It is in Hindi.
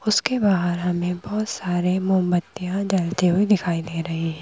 उसके बाहर हमें बहुत सारे मोमबत्तियां जलते हुए दिखाई दे रही हैं।